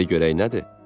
De görək nədir?